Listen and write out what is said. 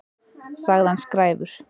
Sagði hann skræfur?